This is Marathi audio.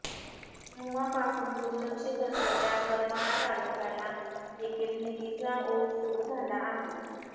तेव्हापासून दुर्लक्षित असलेल्या करमाळा तालुक्याला देखील निधीचा ओघ सुरू झाला आहे